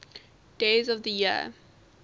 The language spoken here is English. days of the year